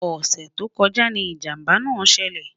ọsẹ tó kojá ní ìjàmbá nà ṣẹlẹ